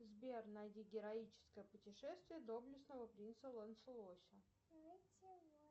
сбер найди героическое путешествие доблестного принца лонцелося